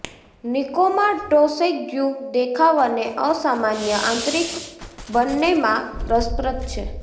નિકોમાં ટોસેગ્યુ દેખાવ અને અસામાન્ય આંતરિક બંનેમાં રસપ્રદ છે